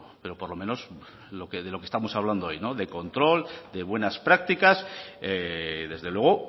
pero por lo menos de lo que estamos hablando hoy de control de buenas prácticas desde luego